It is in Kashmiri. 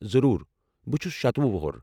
ضروٗر، بہٕ چھُس شتوُہ وۄہُر۔